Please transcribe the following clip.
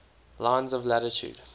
lines of latitude